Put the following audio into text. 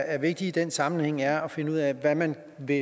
er vigtigt i den sammenhæng er at finde ud af hvad man vil